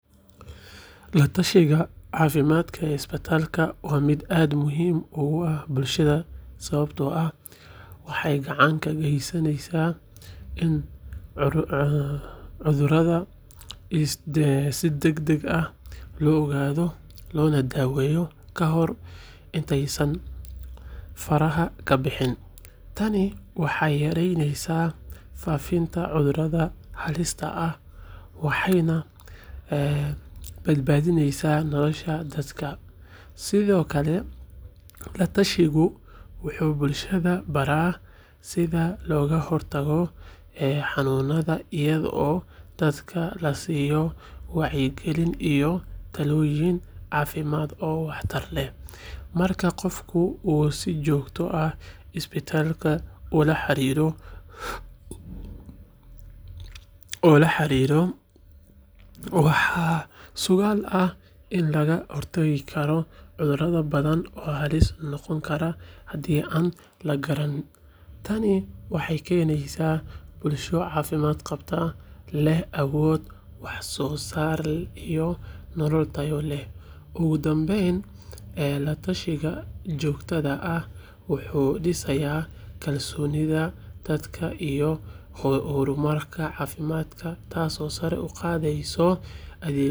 La-tashiga caafimaad ee isbitaalka waa mid aad muhiim ugu ah bulshada sababtoo ah waxay gacan ka geysaneysaa in cudurrada si degdeg ah loo ogaado loona daweeyo ka hor intaysan faraha ka bixin. Tani waxay yareynaysaa faafidda cudurrada halista ah waxayna badbaadisaa nolosha dadka. Sidoo kale, la-tashigu wuxuu bulshada baraa sida looga hortago xanuunada iyadoo dadka la siiyo wacyigelin iyo talooyin caafimaad oo waxtar leh. Marka qofku uu si joogto ah isbitaalka ula xiriiro, waxaa suuragal ah in laga hortago cudurro badan oo halis noqon kara hadii aan la garan. Tani waxay keenaysaa bulsho caafimaad qabta, lehna awood wax soo saar iyo nolol tayo leh. Ugu dambeyn, la-tashiga joogtada ah wuxuu dhisayaa kalsoonida dadka iyo xarumaha caafimaadka taasoo sare u qaadaysa.